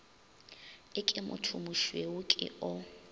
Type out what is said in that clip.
e ke mothomošweu ke o